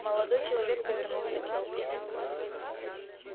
молодой человек повернулся к толпе